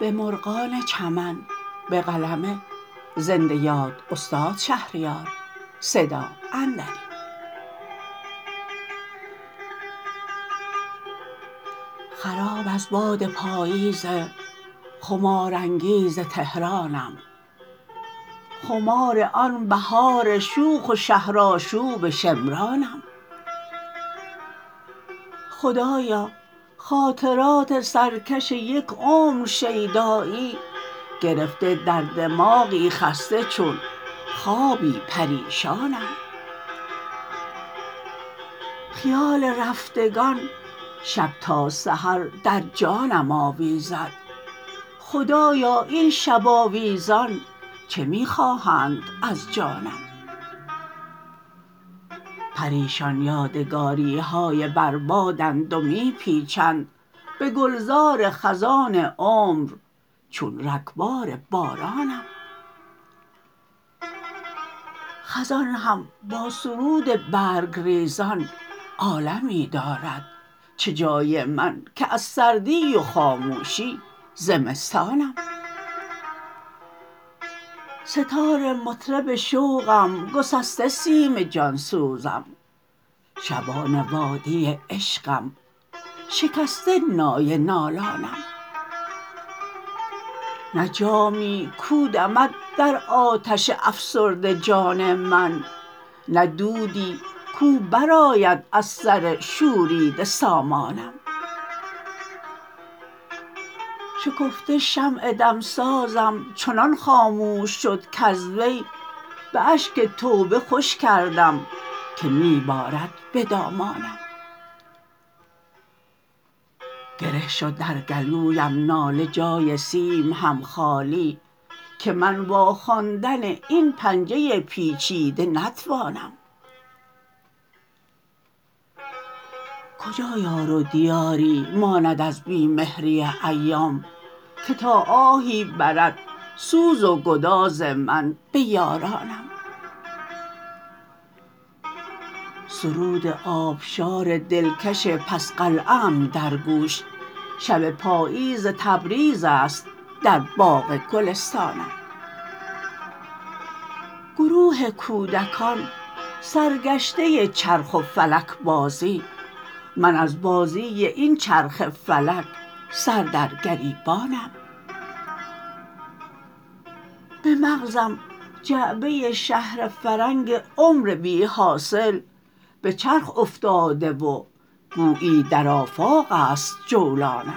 خراب از باد پاییز خمارانگیز تهرانم خمار آن بهار شوخ و شهر آشوب شمرانم خدایا خاطرات سرکش یک عمر شیدایی گرفته در دماغی خسته چون خوابی پریشانم خیال رفتگان شب تا سحر در جانم آویزد خدایا این شب آویزان چه می خواهند از جانم پریشان یادگاریهای بر بادند و می پیچند به گلزار خزان عمر چون رگبار بارانم خزان هم با سرود برگ ریزان عالمی دارد چه جای من که از سردی و خاموشی زمستانم مگر کفاره آزادی و آزادگی ها بود که اعصابم غل و زنجیر گشت و صبر زندانم به بحرانی که کردم آتشم شد از عرق خاموش خوشا آن آتشین تب ها که دلکش بود هذیانم سه تار مطرب شوقم گسسته سیم جانسوزم شبان وادی عشقم شکسته نای نالانم نه جامی کو دمد در آتش افسرده جان من نه دودی کو برآید از سر شوریده سامانم شکفته شمع دمسازم چنان خاموش شد کز وی به اشک توبه خوش کردم که می بارد به دامانم گره شد در گلویم ناله جای سیم هم خالی که من واخواندن این پنجه پیچیده نتوانم کجا یار و دیاری ماند از بی مهری ایام که تا آهی برد سوز و گداز من به یارانم بیا ای کاروان مصر آهنگ کجا داری گذر بر چاه کنعان کن من آخر ماه کنعانم سرود آبشار دلکش پس قلعه ام در گوش شب پاییز تبریز است و در باغ گلستانم گروه کودکان سرگشته چرخ و فلک بازی من از بازی این چرخ فلک سر در گریبانم به مغزم جعبه شهر فرنگ عمر بی حاصل به چرخ افتاده و گویی در آفاقست جولانم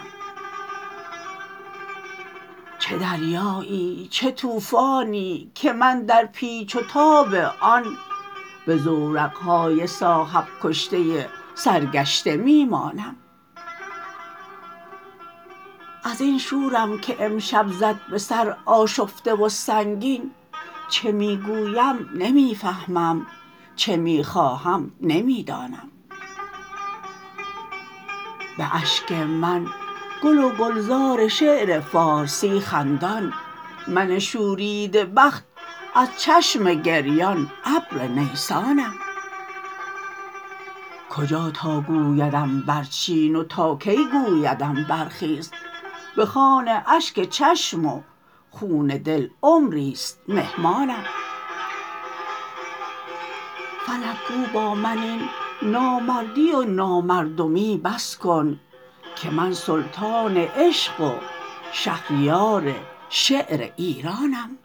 چه دریایی چه طوفانی که من در پیچ و تاب آن به زورقهای صاحب کشته سرگشته می مانم ازین شورم که امشب زد به سر آشفته و سنگین چه می گویم نمی فهمم چه می خواهم نمی دانم به اشک من گل و گلزار شعر فارسی خندان من شوریده بخت از چشم گریان ابر نیسانم کجا تا گویدم برچین و تا کی گویدم برخیز به خوان اشک چشم و خون دل عمریست مهمانم به نامردی مکن پستم بگیر ای آسمان دستم که من تا بوده و هستم غلام شاه مردانم چه بیم غرقم از عمان که جستم گوهر ایمان دلا هرچند کز حرمان هنر بس بود تاوانم فلک گو با من این نامردی و نامردمی بس کن که من سلطان عشق و شهریار شعر ایرانم